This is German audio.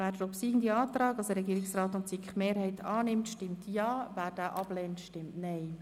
Wer den Antrag Regierungsrat/SiKMehrheit annimmt, stimmt Ja, wer diesen ablehnt, stimmt Nein.